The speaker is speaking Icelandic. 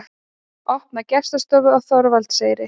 Opna gestastofu á Þorvaldseyri